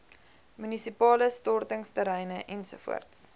munisipale stortingsterreine ens